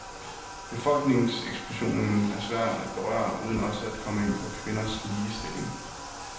Befolkningseksplosionen er svær at berøre uden også at komme ind på kvindens ligestilling.